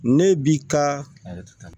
Ne bi ka